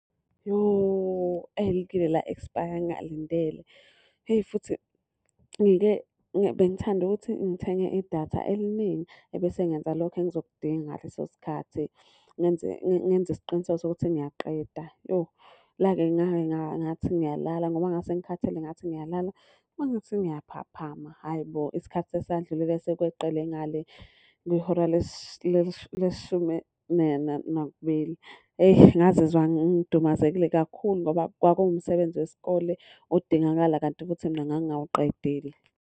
Yoh, eyi likile la-ekspaya ngingalindele. Hheyi futhi, bengithanda ukuthi ngithenge idatha eliningi ebese ngenza lokho engizokudinga ngaleso sikhathi, ngenze isiqiniseko sokuthi ngiyaqeda. Yoh, ngake ngathi ngiyalala ngoba ngase ngikhathele ngathi ngiyalala, uma ngithi ngiyaphaphama hhayi bo, isikhathi sesadlulile sekweqele ngale kwihora leshumi nakubili. Eyi, ngazizwa ngidumazekile kakhulu ngoba kwakuwumsebenzi wesikole odingakala kanti ukuthi mina ngangingawuqedile.